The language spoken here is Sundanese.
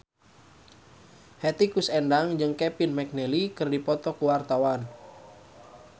Hetty Koes Endang jeung Kevin McNally keur dipoto ku wartawan